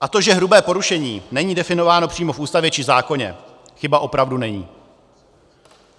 A to, že hrubé porušení není definováno přímo v Ústavě či zákoně, chyba opravdu není.